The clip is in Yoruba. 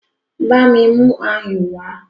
Bámi mú ayùn wá!